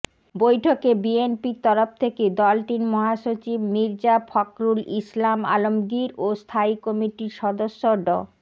বৈঠকে বিএনপির তরফ থেকে দলটির মহাসচিব মির্জা ফখরুল ইসলাম আলমগীর ও স্থায়ী কমিটির সদস্য ড